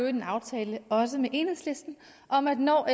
en aftale også med enhedslisten om at når